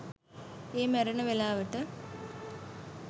ඒ මැරෙන වෙලාවට